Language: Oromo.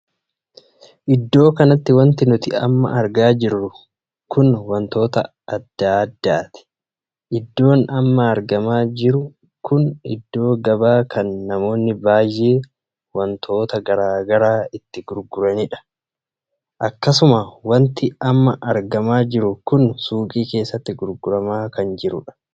Iddoo kanatti wanti nuti amma argaa jirru kun wantoota addaa addaati. iddoon amma argamaa jiru kun iddoo gabaa kan namoonni baay'ee wantoota garaagaraa itti gurguranidha. akkasuma wanti amma argamaa jiru kun suuqii keessatti gurguramaa kan jirudha.